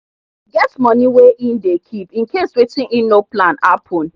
he get money wey e dey keep incase wetin he no plan happen